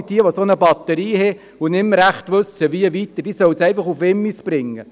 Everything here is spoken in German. Alle, die eine solche Batterie haben und nicht weiter wissen damit, sollen diese nach Wimmis bringen.